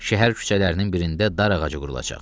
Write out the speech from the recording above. Şəhər küçələrinin birində dar ağacı qurulacaq.